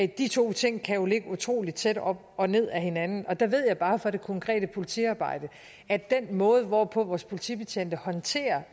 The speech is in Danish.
de to ting kan jo ligge utrolig tæt op og ned ad hinanden og der ved jeg bare fra det konkrete politiarbejde at den måde hvorpå vores politibetjente håndterer